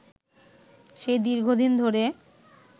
সে দীর্ঘদিন ধরে